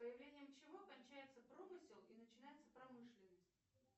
с появлением чего кончается промысел и начинается промышленность